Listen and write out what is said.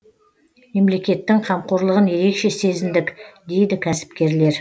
мемлекеттің қамқорлығын ерекше сезіндік дейді кәсіпкерлер